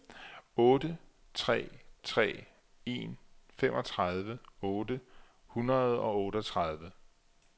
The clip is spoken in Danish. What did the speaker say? otte tre tre en femogtredive otte hundrede og otteogtredive